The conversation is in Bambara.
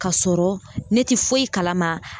Kasɔrɔ ne ti foyi kalama